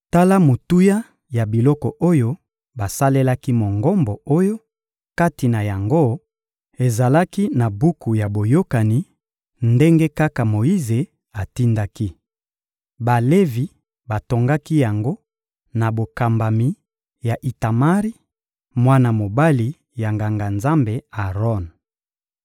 Tala motuya ya biloko oyo basalelaki Mongombo oyo, kati na yango, ezalaki na buku ya Boyokani, ndenge kaka Moyize atindaki. Balevi batongaki yango na bokambami ya Itamari, mwana mobali ya Nganga-Nzambe Aron.